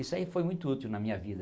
Isso aí foi muito útil na minha vida.